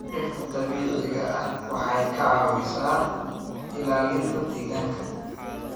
Dhirta dabiiciga ah waxay ka caawisaa ilaalinta deegaanka.